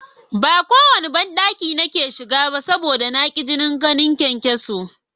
Ba kowanne banɗaki nake shiga ba saboda na tsani ganin kyankyaso